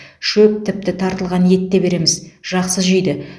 шөп тіпті тартылған ет те береміз жақсы жейді